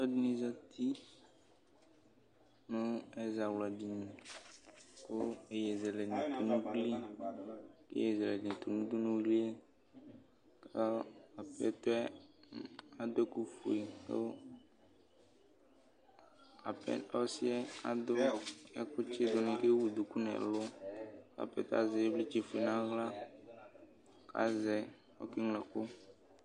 Alʋɛdɩnɩ zati nʋ ɛzawladini kʋ iyeyezɛlɛnɩ tʋ nʋ ugli kʋ iyeyezɛlɛ dɩnɩ tʋ nʋ udunuli yɛ kʋ apɛtɔ yɛ adʋ ɛkʋfue kʋ apɛ ɔsɩ yɛ adʋ ɛkʋtsɩdʋ kʋ ewu duku nʋ ɛlʋ kʋ apɛtɔ yɛ azɛ ɩvlɩtsɛfue nʋ aɣla kʋ azɛ, ɔkeŋlo ɛkʋ